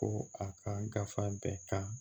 Ko a ka gafe bɛɛ kan